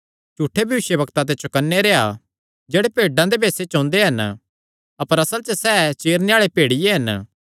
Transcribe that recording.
झूठे भविष्यवक्ता ते चौकन्ने रेह्आ जेह्ड़े भेड्डां दे भेसे च ओंदे हन अपर असल च सैह़ चीरणे आल़े भेड़िये हन